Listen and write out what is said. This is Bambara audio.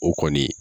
O kɔni